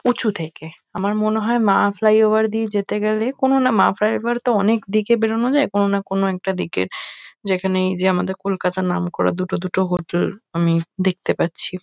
উঁচু থেকে। আমার মনে হয় মা ফ্লাইওভার দিয়ে যেতে গেলে কোনো না মা ফ্লাইওভার -তো অনেক দিকে বেরোনো যায় কোনো না কোনো একটা দিকে যেখানে এইযে আমাদের কলকাতার নামকরা দুটো দুটো হোটেল আমি দেখতে পাচ্ছি।